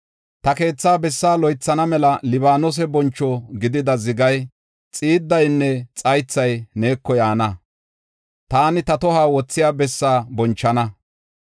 Ta keethaa bessaa loythana mela Libaanose boncho gidida zigay, xiiddaynne xaythay neeko yaana; taani ta tohuwa wothiya bessaa bonchana.